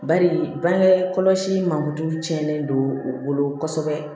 Bari bange kɔlɔsi mangorotulu tiɲɛnen don u bolo kosɛbɛ